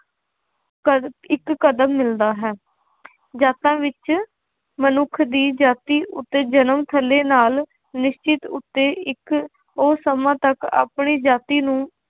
ਕਦ~ ਇੱਕ ਕਦਮ ਮਿਲਦਾ ਹੈ ਜਾਤਾਂ ਵਿੱਚ ਮਨੁੱਖ ਦੀ ਜਾਤੀ ਉੱਤੇ ਜਨਮ ਥੱਲੇ ਨਾਲ ਨਿਸ਼ਚਿਤ ਉੱਤੇ ਇੱਕ ਉਹ ਸਮਾਂ ਤੱਕ ਆਪਣੀ ਜਾਤੀ ਨੂੰ